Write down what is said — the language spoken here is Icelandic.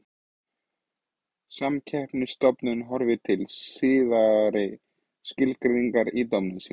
Samkeppnisstofnun horfir til síðari skilgreiningarinnar í dómum sínum.